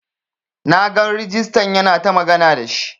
Na gan regista yana ta magana da shi.